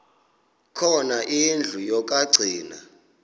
khona indlu yokagcina